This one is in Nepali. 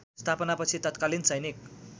स्थापनापछि तत्कालीन सैनिक